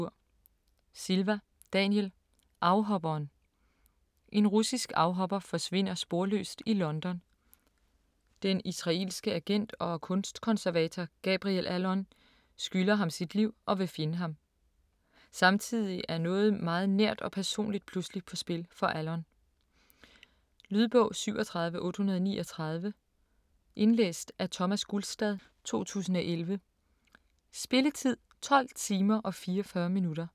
Silva, Daniel: Afhopperen En russisk afhopper forsvinder sporløst i London. Den israelske agent og kunstkonservator, Gabriel Allon, skylder ham sit liv og vil finde ham. Samtidigt er noget meget nært og personligt pludselig på spil for Allon. Lydbog 37839 Indlæst af Thomas Gulstad, 2011. Spilletid: 12 timer, 44 minutter.